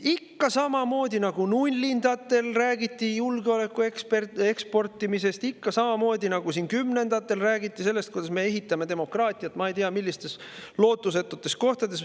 Ikka samamoodi, nagu nullindatel räägiti julgeoleku eksportimisest, ikka samamoodi, nagu kümnendatel räägiti sellest, kuidas me ehitame demokraatiat ei tea millistes lootusetutes kohtades.